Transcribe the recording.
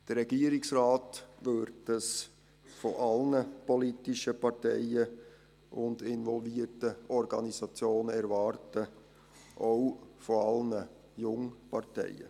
Das erwartet der Regierungsrat von allen politischen Parteien und involvierten Organisationen, auch von allen Jungparteien.